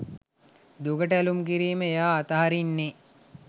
දුකට ඇලූම් කිරීම එයා අතහරින්නේ